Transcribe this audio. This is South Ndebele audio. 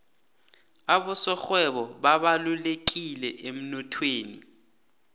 abasorhwebo babalulekileemnothweni